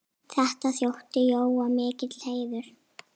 Þetta þótti Jóa mikill heiður.